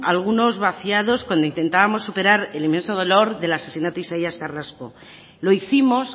algunos vaciados cuando intentábamos superar el inmenso dolor del asesinato de isaías carrasco lo hicimos